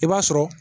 I b'a sɔrɔ